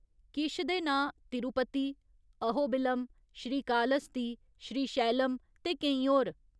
किश दे नांऽ तिरुपति, अहोबिलम, श्रीकालहस्ती, श्रीशैलम ते केईं होर।